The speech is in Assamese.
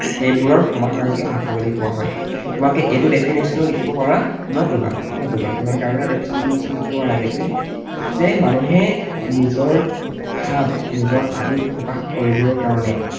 সেইবোৰৰ সমাহাৰকে ভাষা বুলি কোৱা হয়। তোমালোকে এইটো definition ও লিখিব পাৰা নতুবা নতুবা তোমালোকে আৰু এটা definition লিখিব পাৰা যে মানুহে নিজৰ ভাব, নিজৰ আৱেগ প্ৰকাশ কৰিবৰ কাৰণে